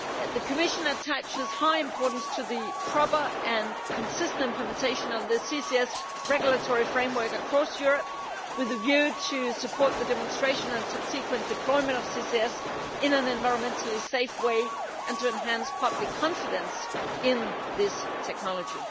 The Commission attaches high importance to the proper and consistent implementation of the CCS regulatory framework across Europe, with a view to supporting the demonstration and subsequent deployment of CCS in an environmentally safe way and to enhancing public confidence in this technology.